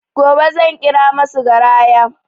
Gobe zan ƙira masu garaya